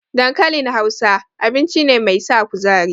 Dankalin Hausa, abinci ne mai sa kuzari.